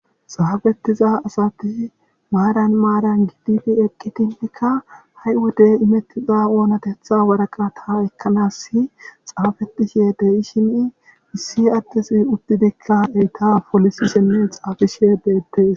xaafettiza asati maaran maaran gidfi eqqitinkka ha7i wodey imettiza oonatetha waraqa ta ekkanas xaafetishe de7i shimi issi addisi uddidikka eyta polisi shenne xaafishe deettees